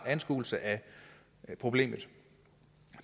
anskuelse af problemet